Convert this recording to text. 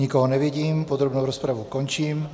Nikoho nevidím, podrobnou rozpravu končím.